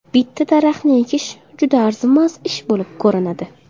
Bitta daraxtni ekish juda arzimas ish bo‘lib ko‘rinadi.